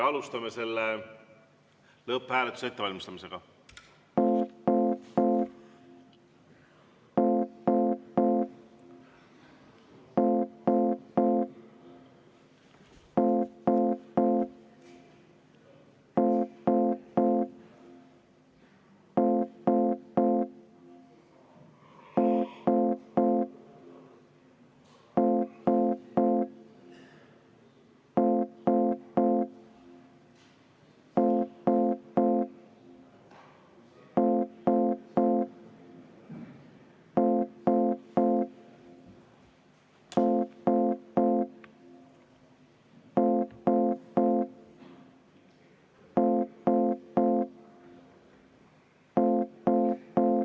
Alustame selle lõpphääletuse ettevalmistamist.